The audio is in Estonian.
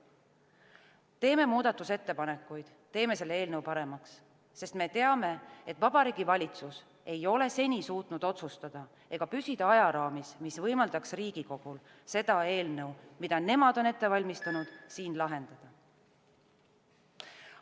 Teeme muudatusettepanekuid, teeme selle eelnõu paremaks, sest me teame, et Vabariigi Valitsus ei ole seni suutnud otsustada ega püsida ajaraamis, mis võimaldaks Riigikogul seda eelnõu, mida nemad on ette valmistanud, siin menetleda.